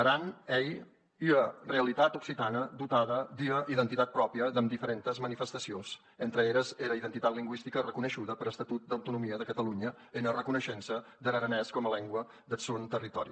aran ei ua realitat occitana dotada d’ua identitat pròpria damb diferentes manifestacions entre eres era identitat lingüistica reconeishuda per estatut d’autonomia de catalonha ena reconeishença der aranés coma lengua deth sòn territòri